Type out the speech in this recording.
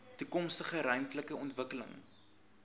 toekomstige ruimtelike ontwikkeling